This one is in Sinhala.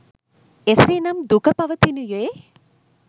එසේ නම් දුක පවතිනුයේ